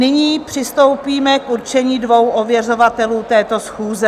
Nyní přistoupíme k určení dvou ověřovatelů této schůze.